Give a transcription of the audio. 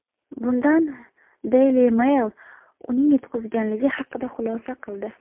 Bundan Daily Mail uning yutqizganligi haqida xulosa qildi.